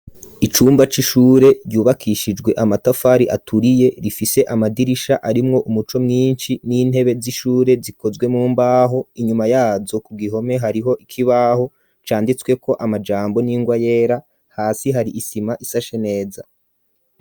Icumba c'ishure ryubakishijwe amatafari aturiye, rifise amadirisha arimwo umuco mwinshi n'intebe z'ishure zikozwe mumbaho, inyuma yazo ku gihome hariho ikibaho canditswe ko amajambo n'ingwa yera ,hasi hari isima isashe neza.